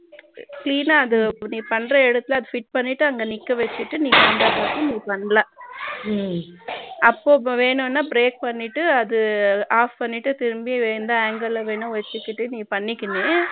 clean ஆ நீ பண்ற இடத்துல fit பண்ணிட்டு அங்க நிக்க வச்சுக்கிட்டு நீ பண்ணலாம் அப்பப்பா வேணும்னா break பண்ணிக்கிட்ட அது off பண்ணிட்டு திரும்பி வேணும்ன anger வேணாவச்சிக்கிட்டே நீ பண்ணிக்கினு